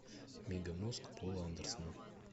мегамозг пола андерсона